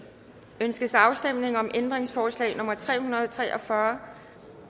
ønskes afstemning om ændringsforslag nummer tre hundrede og tre og fyrre